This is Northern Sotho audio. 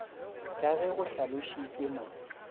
ka ge go hlalošitšwe mo